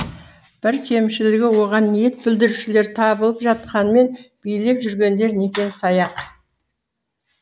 бір кемшілігі оған ниет білдірушылер табылып жатқанымен билеп жүргендер некен саяқ